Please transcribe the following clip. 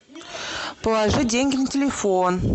положи деньги на телефон